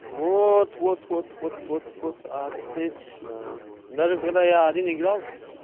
вот вот вот вот вот вот отлично даже когда я один играл